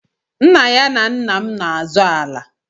Nna ya na nna m n'azọ ala.